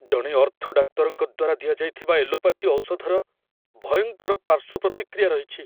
ଜଣେ ଅର୍ଥୋ ଡାକ୍ତରଙ୍କ ଦ୍ୱାରା ଦିଆଯାଇଥିବା ଏଲୋପାଥି ଔଷଧର ଭୟଙ୍କର ପାର୍ଶ୍ୱ ପ୍ରତିକ୍ରିୟା ରହିଛି।